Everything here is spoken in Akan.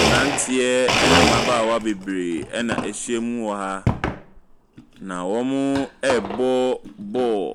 Mmeranteɛ ne mmabaawa bebree na wɔahyiam wɔ ha, na wɔrebɔ ball.